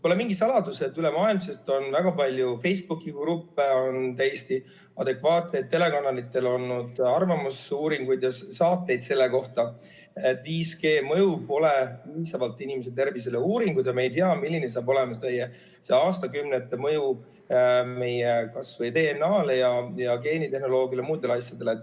Pole mingi saladus, et ülemaailmselt on väga palju Facebooki-gruppe ja täiesti adekvaatsetel telekanalitel on olnud arvamusuuringuid ja saateid selle kohta, et 5G mõju inimese tervisele pole piisavalt uuritud ja me ei tea, milline saab olema see mõju aastakümnete pärast kas või meie DNA-le ja geenitehnoloogiale ja muudele asjadele.